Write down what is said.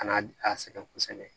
Ka n'a a sɛgɛn kosɛbɛ